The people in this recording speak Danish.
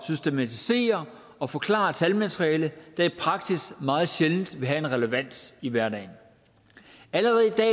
systematisere og forklare talmateriale der i praksis meget sjældent vil have en relevans i hverdagen allerede i dag